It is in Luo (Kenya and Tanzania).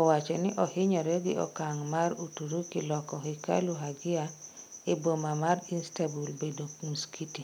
owachoni ohinyore gi okang mar Uturuki loko Hekalu Hagia e boma mar Istanbul bedo msikiti